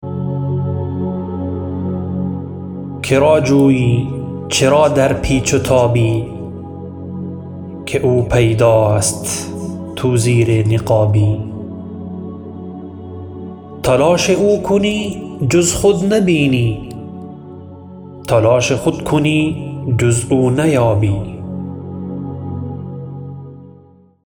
کرا جویی چرا در پیچ و تابی که او پیداست تو زیر نقابی تلاش او کنی جز خود نبینی تلاش خود کنی جز او نیابی